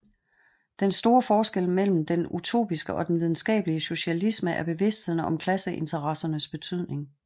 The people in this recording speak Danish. Den store forskel mellem den utopiske og den videnskabelige socialisme er bevidstheden om klasseinteressernes betydning